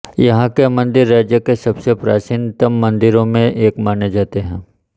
यहां के मंदिर राज्य के सबसे प्राचीनतम मंदिरों में एक माने जाते हैं